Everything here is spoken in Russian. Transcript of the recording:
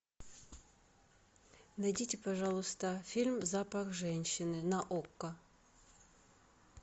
найдите пожалуйста фильм запах женщины на окко